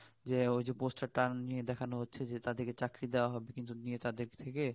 যে ওই poster টা নিয়ে দেখান হচ্ছে যে তাদের কে চাকরি দেওয়া হবে কিন্তু তাদের থেকে